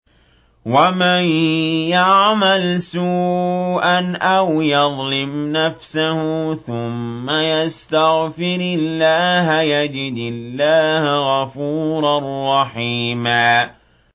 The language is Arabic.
وَمَن يَعْمَلْ سُوءًا أَوْ يَظْلِمْ نَفْسَهُ ثُمَّ يَسْتَغْفِرِ اللَّهَ يَجِدِ اللَّهَ غَفُورًا رَّحِيمًا